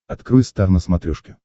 открой стар на смотрешке